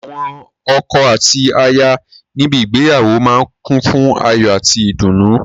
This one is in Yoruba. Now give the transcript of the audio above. Awọn ọkọ àti aya níbi ígbéyàwó máa ń kùn fún ayò àti ìdùnnú.